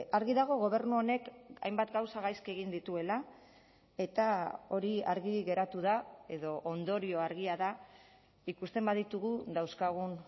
argi dago gobernu honek hainbat gauza gaizki egin dituela eta hori argi geratu da edo ondorioa argia da ikusten baditugu dauzkagun